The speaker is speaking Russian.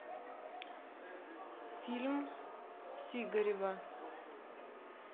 фильм сигарева